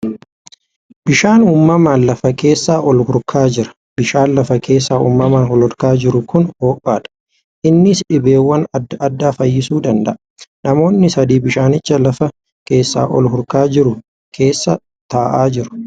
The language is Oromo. Bishaan uumamaan lafa keessaa ol hurkaa jira. Bishaan lafa keessaa uumamaan ol hurkaa jiru kun hoo'aadha. Innis dhibeewwan adda addaa fayyisuu damda'a. Namoonni sadii bishaanicha lafa keessaa ol hurkaa jiru keessaa taa'aa jiru.